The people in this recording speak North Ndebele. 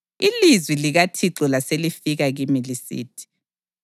Ilizwi likaThixo laselifika kimi lisithi: